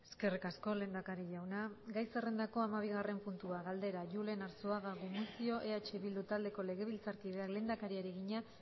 eskerrik asko lehendakari jauna gai zerrendako hamabigarren puntua galdera julen arzuaga gumuzio eh bildu taldeko legebiltzarkideak lehendakariari egina